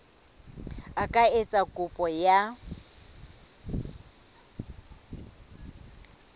a ka etsa kopo ya